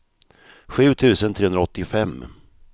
sju tusen trehundraåttiofem